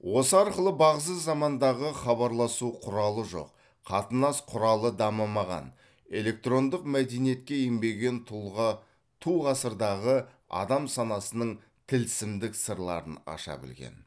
осы арқылы бағзы замандағы хабарласу құралы жоқ қатынас құралы дамымаған электрондық мәдениетке енбеген тұла ту ғасырдағы адам санасының тілсімдік сырларын аша білген